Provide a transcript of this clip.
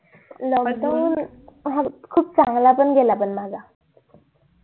lockdown खूप चांगला पण गेला माझा